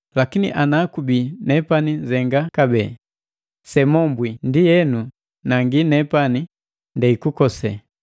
Lakini ana kubii nepani nzenga kabee sela semombwili, ndienu nangi nepani ndei kukosee.